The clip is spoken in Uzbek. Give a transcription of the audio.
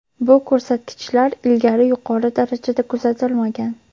bu ko‘rsatkichlar ilgari yuqori darajada kuzatilmagan.